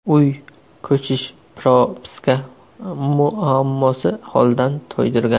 Uy, ko‘chish, propiska muammosi holdan toydirgan.